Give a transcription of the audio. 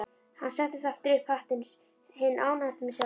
Hann setti aftur upp hattinn, hinn ánægðasti með sjálfan sig.